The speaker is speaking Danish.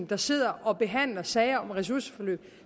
der sidder og behandler sager om ressourceforløb